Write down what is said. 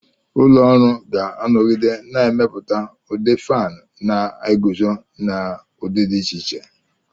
Ụlọ ọrụ ga-anọgide na-emepụta ndị fánu na-eguzo n'udi dị iche iche